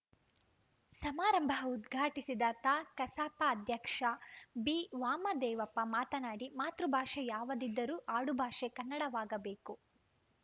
ಸಮಾರಂಭ ಉದ್ಘಾಟಿಸಿದ ತಾಕಸಾಪ ಅಧ್ಯಕ್ಷ ಬಿವಾಮದೇವಪ್ಪ ಮಾತನಾಡಿ ಮಾತೃಭಾಷೆ ಯಾವುದಿದ್ದರೂ ಆಡುಭಾಷೆ ಕನ್ನಡವಾಗಬೇಕು